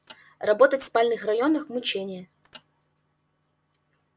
работать в спальных районах мучение